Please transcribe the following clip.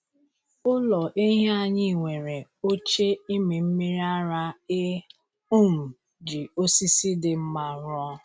Ụlọ ehi anyị nwere oche ịmị mmiri ara e um ji osisi dị mma rụọ.